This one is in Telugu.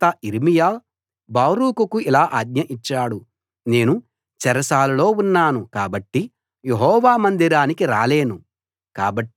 తరువాత యిర్మీయా బారూకుకు ఇలా ఆజ్ఞ ఇచ్చాడు నేను చెరసాలలో ఉన్నాను కాబట్టి యెహోవా మందిరానికి రాలేను